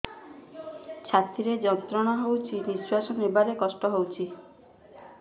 ଛାତି ରେ ଯନ୍ତ୍ରଣା ହଉଛି ନିଶ୍ୱାସ ନେବାରେ କଷ୍ଟ ହଉଛି